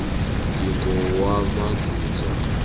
ngingowamanzunza